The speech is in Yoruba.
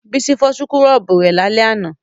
Bísí fọ súkúrọ́bù rẹ̀ lálẹ́ àná